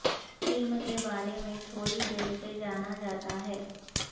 film کے بارے میں تھوڑی دیر سے جانا جاتا ہے